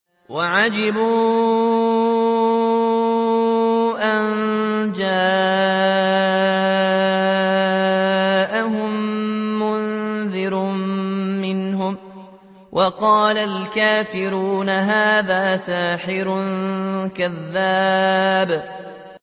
وَعَجِبُوا أَن جَاءَهُم مُّنذِرٌ مِّنْهُمْ ۖ وَقَالَ الْكَافِرُونَ هَٰذَا سَاحِرٌ كَذَّابٌ